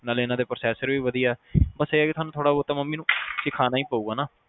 ਨਾਲੇ ਇਹਨਾਂ ਦੇ ਪ੍ਰੋਸੈਸਰ ਵੀ ਵਧੀਆ ਬਸ ਇਹ ਕੇ ਸਾਨੂੰ ਥੋੜਾ ਬਹੁਤ ਮੰਮੀ ਨੂੰ ਸਿਖੌਣਾ ਹੀ ਪਏਗਾ